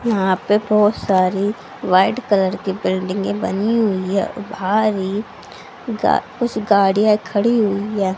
यहां पे बहुत सारी व्हाइट कलर की बिल्डिंगे बनी हुई है और भारी कुछ गाड़ियां खड़ी हुई है।